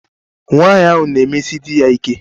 Nwanyị ahụ na-emesi di ya ike.